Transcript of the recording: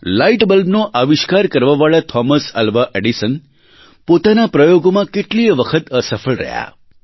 light બલ્બનો આવિષ્કાર કરવાવાળા થોમસ આલ્વા એડિસન પોતાના પ્રયોગોમાં કેટલીય વખત અસફળ રહ્યાં